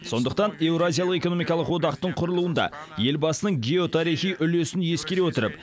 сондықтан еуразиялық экономикалық одақтың құрылуында елбасының геотарихи үлесін ескере отырып